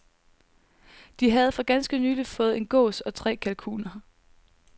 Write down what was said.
De havde for ganske nylig fået en gås og tre kalkuner.